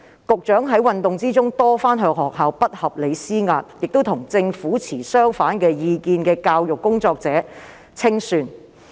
局長在運動中多番向學校不合理施壓，亦清算與政府持相反意見的教育工作者。